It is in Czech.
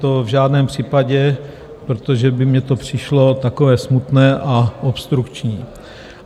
To v žádném případě, protože by mně to přišlo takové smutné a obstrukční.